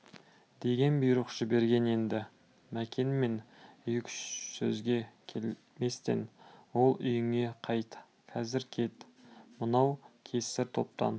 деген бұйрық жіберген енді мәкенмен екі-үш сөзге келместен ол үйіңе қайт қазір кет мынау кесір топтан